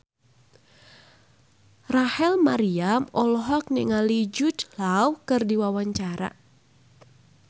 Rachel Maryam olohok ningali Jude Law keur diwawancara